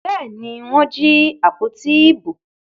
Bẹ́ẹ̀ ni, wọ́n jí àpótí ìbò.